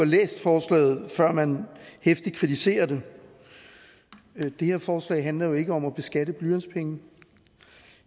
læst forslaget før man heftigt kritiserer det det her forslag handler jo ikke om at beskatte blyantspenge